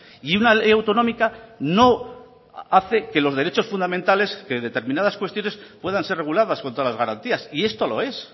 y una ley autonómica no hace que los derechos fundamentales que determinadas cuestiones puedan ser reguladas con todas las garantías y esto lo es